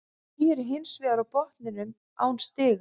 Ægir er hins vegar á botninum án stiga.